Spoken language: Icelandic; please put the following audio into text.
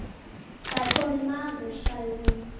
Það er kominn maður, sagði hún.